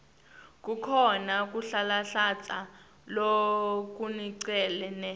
kukhona kuhlanhlatsa lokuncane